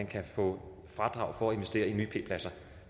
kan få fradrag for at investere i nye p pladser